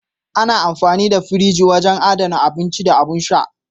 Ana amfani da firji wurin adana abinci da abin sha.